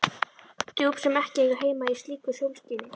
Djúp sem ekki eiga heima í slíku sólskini.